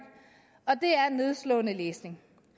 og det er nedslående læsning